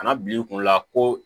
Kana bil'i kun la ko